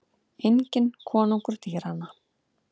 Enginn konungur dýranna.